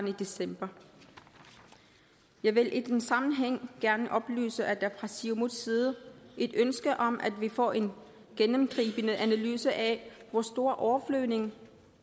i december jeg vil i den sammenhæng gerne oplyse at der fra siumuts side er et ønske om at vi får en gennemgribende analyse af hvor stor overflyvning